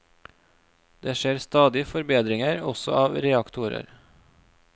Det skjer stadig forbedringer også av reaktorer.